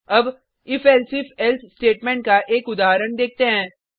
अब if elsif else statement का एक उदाहरण देखते हैं